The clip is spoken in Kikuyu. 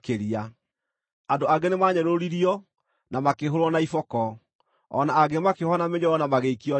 Andũ angĩ nĩmanyũrũririo na makĩhũũrwo na iboko, o na angĩ makĩohwo na mĩnyororo na magĩikio njeera.